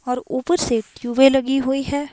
और ऊपर से ट्यूबें लगी हुई हैं।